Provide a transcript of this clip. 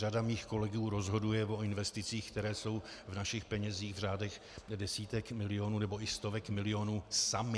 Řada mých kolegů rozhoduje o investicích, které jsou v našich penězích v řádech desítek milionů nebo i stovek milionů sami.